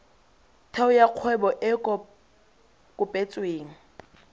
theo ya kgwebo e kopetsweng